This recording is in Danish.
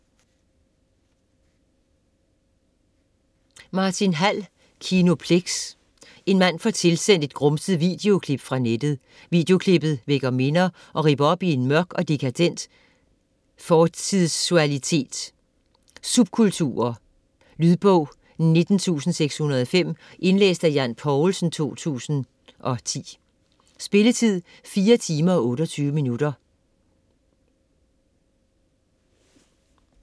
Hall, Martin: Kinoplex En mand får tilsendt et grumset videoklip fra nettet. Videoklippet vækker minder, og ripper op i en mørk og dekadent fortidsualitet; subkulturer. Lydbog 19605 Indlæst af Jan Poulsen, 2010. Spilletid: 4 timer, 28 minutter.